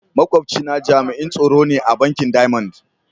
Makwabci na jami'in tsaro ne a bankin "diamond".